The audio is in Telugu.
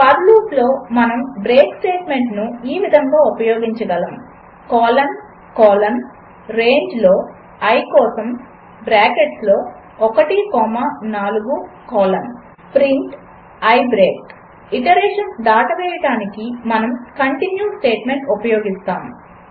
ఫర్ లూపులో మనము బ్రేక్ స్టేట్మెంటును ఈ విధముగా ఉపయోగించగలము కోలన్ కోలన్ రేంజ్లో i కోసం బ్రాకెట్స్లో 1 comma 4 colon print i break iterations దాటవేయడానికి మనము కంటిన్యూ స్టేట్మెంట్ ఉపయోగిస్తాము